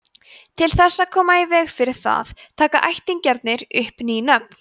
til þess að koma í veg fyrir það taka ættingjarnir upp ný nöfn